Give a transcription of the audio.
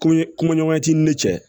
Koɲe kunkoɲɔgɔnya t'i ni ne cɛ